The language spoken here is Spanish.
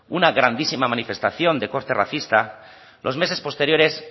una grandísima manifestación de corte racista los meses posteriores